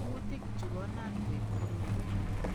Kuutik chu konan koib korotwek